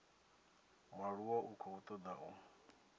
mualuwa u khou toda u